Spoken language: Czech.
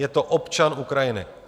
Je to občan Ukrajiny.